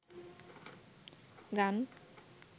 গান